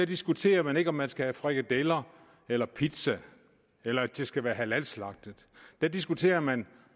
diskuterer man ikke om man skal have frikadeller eller pizza eller at det skal være halalslagtet der diskuterer man